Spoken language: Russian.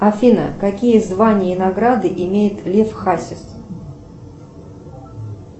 афина какие звания и награды имеет лев хасис